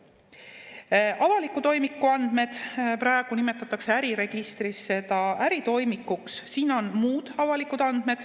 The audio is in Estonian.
avaliku toimiku andmed, praegu nimetatakse äriregistris seda äritoimikuks – siin on muud avalikud andmed.